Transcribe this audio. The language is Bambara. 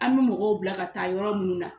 An bɛ mɔgɔw bila ka taa yɔrɔ minnu na